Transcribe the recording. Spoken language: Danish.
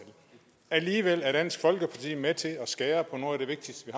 alligevel er dansk folkeparti med til at skære på noget af det vigtigste vi